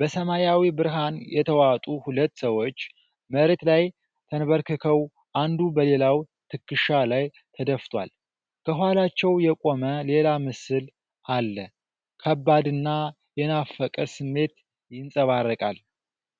በሰማያዊ ብርሃን የተዋጡ ሁለት ሰዎች መሬት ላይ ተንበርክከው አንዱ በሌላው ትከሻ ላይ ተደፍቷል። ከኋላቸው የቆመ ሌላ ምስል አለ። ከባድና የናፈቀ ስሜት ይንጸባረቃል።